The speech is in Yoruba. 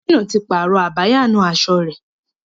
Gómìnà ti pààrọ̀ abáyanaṣọ rẹ̀.